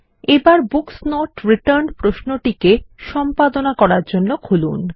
এবার books not returned প্রশ্ন টিকে সম্পাদনা করার জন্য খুলুন